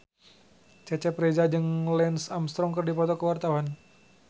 Cecep Reza jeung Lance Armstrong keur dipoto ku wartawan